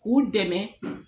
K'u dɛmɛ